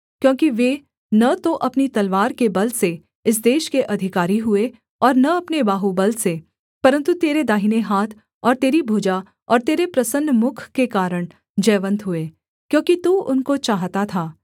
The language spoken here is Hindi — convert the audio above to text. क्योंकि वे न तो अपनी तलवार के बल से इस देश के अधिकारी हुए और न अपने बाहुबल से परन्तु तेरे दाहिने हाथ और तेरी भुजा और तेरे प्रसन्न मुख के कारण जयवन्त हुए क्योंकि तू उनको चाहता था